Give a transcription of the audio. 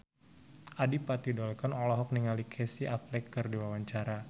Adipati Dolken olohok ningali Casey Affleck keur diwawancara